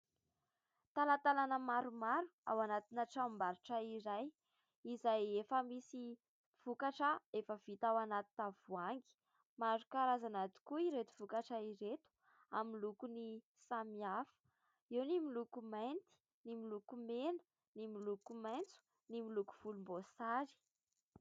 Talatalana maromaro ao anatina tranombarotra iray, izay efa misy vokatra efa vita ao anaty tavohangy. Maro karazana tokoa ireto vokatra ireto : amin'ny loko ny samihafa, eo ny miloko mainty, ny miloko mena, ny miloko maitso, ny miloko volom-boasary.